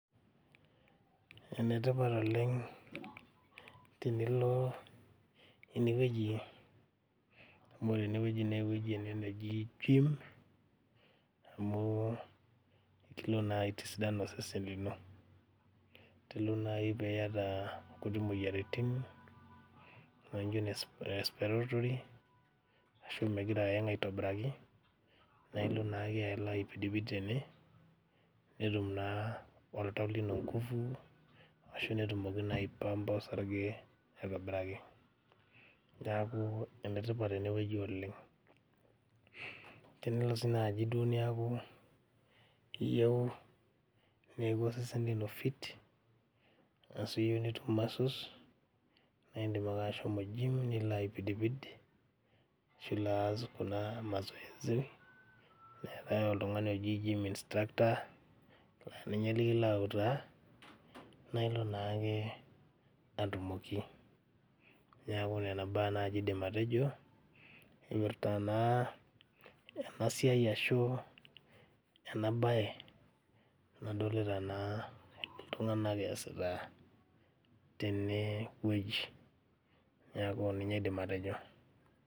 Enetipat oleng tinilo enewueji amu ore enewueji newueji ene neji gym amu ikilo naa aitisidan osesen lino telo naaji piyata inkuti moyiaritin nainjio ene respiratory ashu migira ayang aitobiraki nailo naake alo aipidipid tene netum naa oltau lino nguvu ashu netumoki naa aepampa osarge aitobiraki niaku enetipat enewueji oleng tenelo sii duo naaji niaku iyieu neeku osesen lino fit ashu iyieu netum muscles naindim ake ashomo gym nilo aipidipid ashu ilo aas kuna mazoezi eetae oltung'ani oji gym instructor ninye likilo autaa naa ilo naake atumoki niaku nena baa naaji aidim atejo emirta naa ena siai ashu ena baye nadolita naa iltung'anak easita tenewueji niaku ninye aidim atejo.